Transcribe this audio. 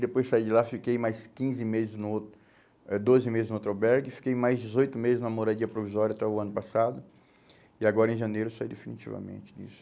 Depois saí de lá, fiquei mais quinze meses no outro, eh doze meses no outro albergue, fiquei mais dezoito meses na moradia provisória até o ano passado e agora em janeiro saí definitivamente disso.